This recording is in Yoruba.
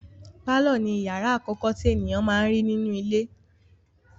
Pálọ̀ ni ìyàrá àkọ́kọ́ tí ènìyàn máa n rí nínú ilé.